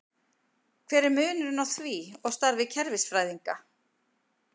Hver er munurinn á því og starfi kerfisfræðinga?